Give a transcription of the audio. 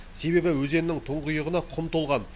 себебі өзеннің тұңғиығына құм толған